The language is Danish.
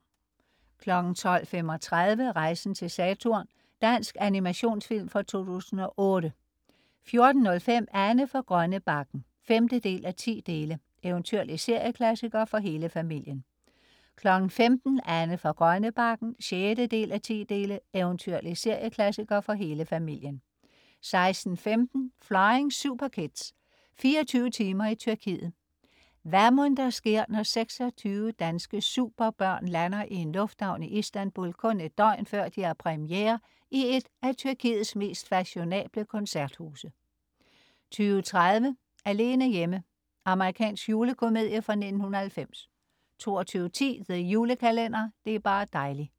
12.35 Rejsen til Saturn. Dansk animationsfilm fra 2008 14.05 Anne fra Grønnebakken 5:10. Eventyrlig serieklassiker for hele familien 15.00 Anne fra Grønnebakken 6:10. Eventyrlig serieklassiker for hele familien 16.15 Flying Superkids. 24 timer i Tyrkiet. Hvad mon der sker, når 26 danske superbørn lander i en lufthavn i Istanbul kun et døgn, før de har premiere i et af Tyrkiets mest fashionable koncerthuse? 20.30 Alene hjemme. Amerikansk julekomedie fra 1990 22.10 The Julekalender. Det er bar' dejli'